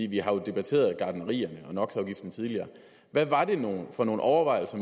vi har jo debatteret gartnerierne og no hvad var det for nogle overvejelser